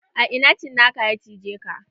A ina cinakan ya cije ka?